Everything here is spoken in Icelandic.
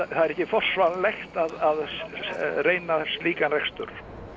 er ekki forsvaranlegt að reyna slíkan rekstur